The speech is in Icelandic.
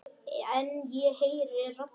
En ég heyri raddir.